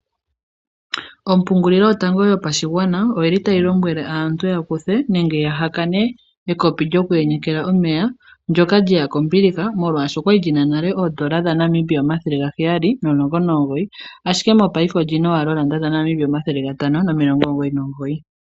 Ompungulilo yotango yo pashigwana oyili tayi lombwele aantu ya kuthe nenge ya ha kane ekopi lyoku yenyela omeya ndyoka lyeya kombiliha molwasho okwa li li na oondola N$ 719.00 ashike mopaife oli na wala N$ 599.00.